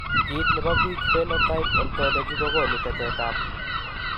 Kit nebo bik Phenotypeontology kokonu tetet ab